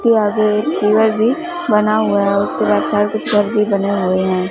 कोई आगे एक शिविर भी बना हुआ है उसके बाद सारे भी बने हुए है।